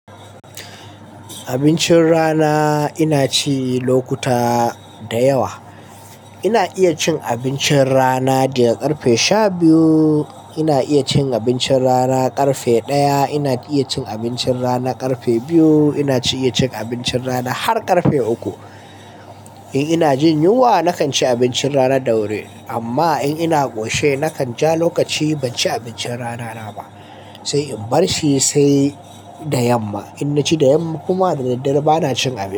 Abincin rana ina ci lokuta da yawa. Ina iya cin abincin rana daga ƙarfe shabiyu, ina iya cin abincin rana ƙarfe ɗaya, ina iya cin abincin rana ƙarfe biyu, ina iya cin abincin rana har ƙarfe uku. In ina jin yunwa nakan ci abincin rana da wuri amma in ina ƙoshe nakan ja lokaci ban ci abincin rana na ba sai in barshi sai da yamma. In na ci da yamma kuma dadaddare ba na cin abinci.